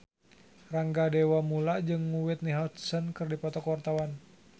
Rangga Dewamoela jeung Whitney Houston keur dipoto ku wartawan